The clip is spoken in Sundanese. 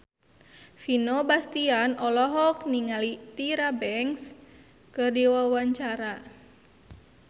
Vino Bastian olohok ningali Tyra Banks keur diwawancara